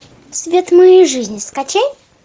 свет моей жизни скачай